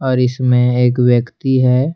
और इसमें एक व्यक्ति है।